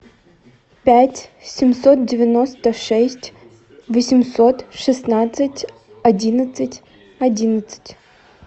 пять семьсот девяносто шесть восемьсот шестнадцать одиннадцать одиннадцать